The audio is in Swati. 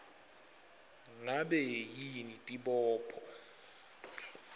ngabe yini tibopho